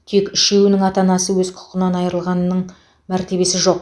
тек үшеуінің ата анасы өз құқығынан айрылғанның мәртебесі жоқ